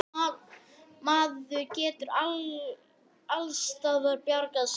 En skammgóður er sá vermir í hretum kulnandi ástardrauma.